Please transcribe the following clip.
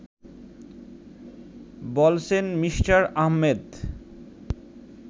বলছেন মি: আহমেদ